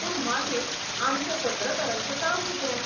पूण मागीर आमचें पत्रकारांचें काम कितें?